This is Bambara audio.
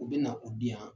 U bɛ na u di yan